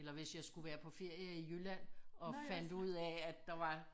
Eller hvis jeg skulle være på ferie i Jylland og fandt ud af der var